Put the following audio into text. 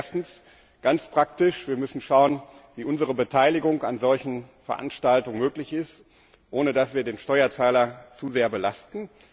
Das heißt erstens ganz praktisch wir müssen schauen, wie unsere Beteiligung an solchen Veranstaltungen möglich ist, ohne den Steuerzahler zu sehr zu belasten.